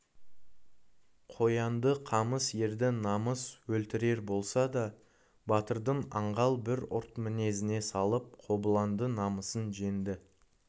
қоянды қамыс ерді намыс өлтірерболса да батырдың аңғал бір ұрт мінезіне салып қобыланды намысын жеңді